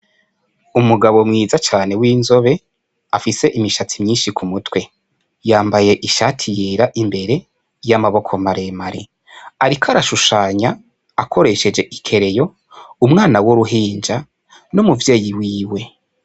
Umugabo mwiza cane w'inzobe afise imishatsi myishi ku mutwe yambaye ishati yera imbere y'amaboko maremare ariko arashushanya akoresheje ikereyo umwana wuruhinja numu vyeyi wiwe.